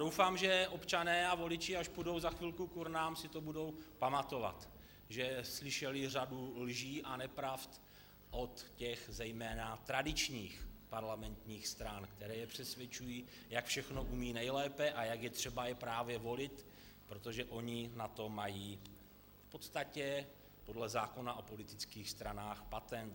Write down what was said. Doufám, že občané a voliči, až půjdou za chvíli k urnám, si to budou pamatovat, že slyšeli řadu lží a nepravd od těch zejména tradičních parlamentních stran, které je přesvědčují, jak všechno umí nejlépe a jak je třeba je právě volit, protože oni na to mají v podstatě podle zákona o politických stranách patent.